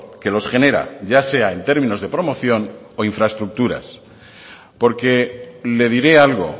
que los genera ya sea en términos de promoción o infraestructuras porque le diré algo